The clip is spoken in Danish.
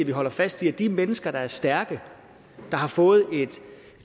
vi holder fast i at de mennesker der er stærke der har fået et